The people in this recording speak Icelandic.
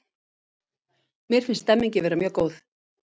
Mér finnst stemningin vera mjög góð